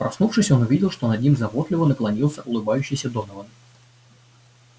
проснувшись он увидел что над ним заботливо наклонился улыбающийся донован